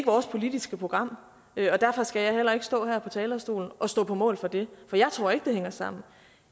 vores politiske program derfor skal jeg heller ikke stå her på talerstolen og stå på mål for det for jeg tror ikke at det hænger sammen